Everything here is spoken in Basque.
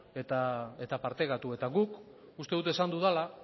eta partekatu eta guk uste dut esan dudala